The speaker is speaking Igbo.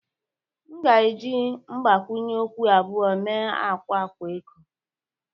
M ga-eji mgbakwunye okwu abụọ mee akwa akwa eko